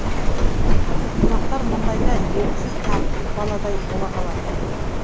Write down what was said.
қонақтар мұндайда еріксіз тәртіпті баладай бола қалатын